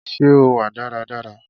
Ṣé o wà dára dára